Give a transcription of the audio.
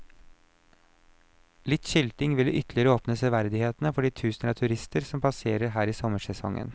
Litt skilting ville ytterligere åpne severdighetene for de tusener av turister som passerer her i sommersesongen.